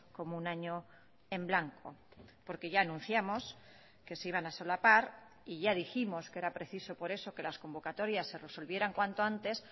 como un año en blanco porque ya anunciamos que se iban a solapar y ya dijimos que era preciso por eso que las convocatorias se resolvieran cuanto antes